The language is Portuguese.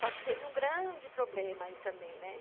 Só que teve um grande problema aí também, né?